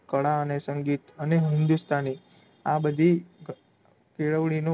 અને સંગીત અને હિંદુસ્તાની આ બધી કેળવણીનો